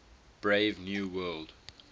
brave new world